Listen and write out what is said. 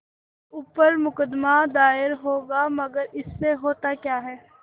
मेरे ऊपर मुकदमा दायर होगा मगर इससे होता क्या है